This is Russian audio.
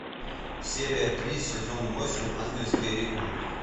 серия три сезон восемь ангельские ритмы